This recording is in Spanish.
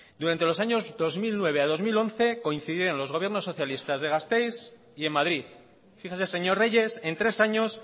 durante los años dos mil nueve a dos mil once coincidían los gobiernos socialistas de gasteiz y en madrid fíjese señor reyes en tres años